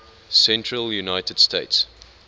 central united states